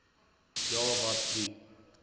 ja wat die